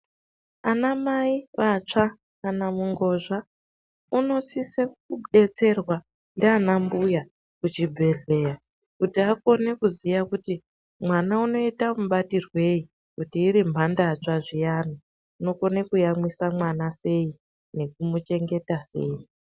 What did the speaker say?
Anamai vatsva kana mungozva unosise kubetserwa ndiana mbuya kuchibhedhleya kuti akone kuziya kuti mwana unoita mubatirwei, kuti iri mhandatsva zviyana unokone kuyamwisa mwana sei, nekumuchengeta sei.